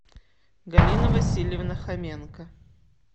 галина васильевна хоменко